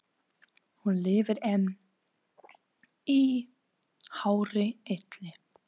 Hún lifir enn í hárri elli.